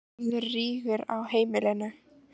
Verður rígur á heimilinu?